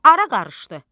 Ara qarışdı.